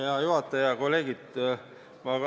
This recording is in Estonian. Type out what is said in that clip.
Hea juhataja ja kolleegid!